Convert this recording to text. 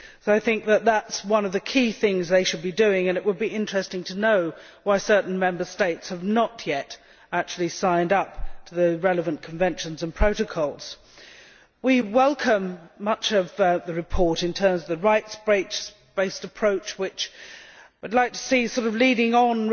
I think this is one of the key things they should be doing, and it would be interesting to know why certain Member States have not yet actually signed up to the relevant conventions and protocols. We welcome much of the report in terms of the rights based approach, which I would like to see leading on